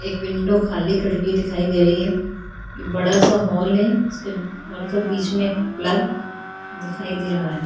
एक विंडो खाली खड़ी हुई दिखाई दे रही हैं एक बड़ा सा हॉल हैं उसके हॉल का बीच में पिलर दिखाई दे रहा हैं।